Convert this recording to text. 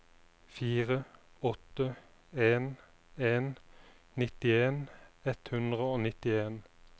fire åtte en en nittien ett hundre og nittien